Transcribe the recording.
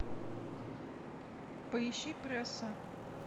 поищи пресса